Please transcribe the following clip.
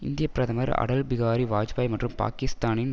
இந்திய பிரதமர் அடல்பிகாரி வாஜ்பாயி மற்றும் பாக்கிஸ்தானின்